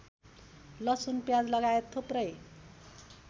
लसुन प्याजलगायत थुप्रै